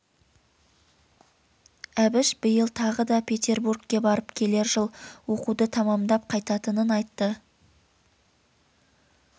әбіш биыл тағы да петербургке барып келер жыл оқуды тамамдап қайтатынын айтты